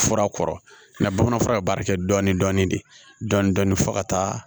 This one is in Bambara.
Fura kɔrɔ na bamanan fura ye baara kɛ dɔɔnin dɔɔnin de dɔɔnin dɔɔnin fo ka taa